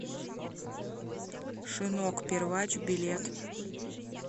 шинок первач билет